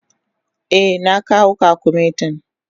Eh, na kawo kwakumetin.